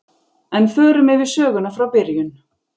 En förum yfir söguna frá byrjun.